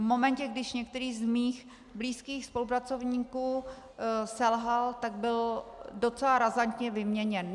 V momentě, když některý z mých blízkých spolupracovníků selhal, tak byl docela razantně vyměněn.